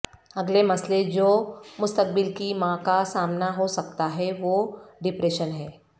اگلے مسئلہ جو مستقبل کی ماں کا سامنا ہو سکتا ہے وہ ڈپریشن ہے